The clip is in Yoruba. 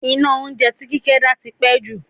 Iná oúnjẹ tí Kíkẹ́ ń dá tí ń pẹ́ jù.